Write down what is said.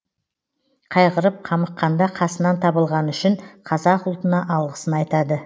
қайғырып қамыққанда қасынан табылғаны үшін қазақ ұлтына алғысын айтады